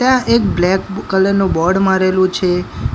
ત્યાં એક black colour નુ બોર્ડ મારેલુ છે